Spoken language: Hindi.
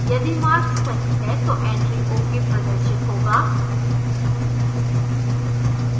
यदि mark सही है तो entry ok प्रदर्शित होगा